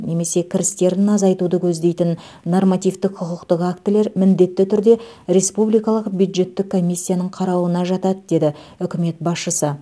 немесе кірістерін азайтуды көздейтін нормативтік құқықтық актілер міндетті түрде республикалық бюджеттік комиссияның қарауына жатады деді үкімет басшысы